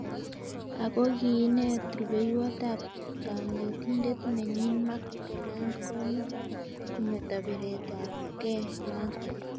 Ako kiinet rubeiwot ab kanetindet nenyin Mark Breland kometo biret ab ke noto.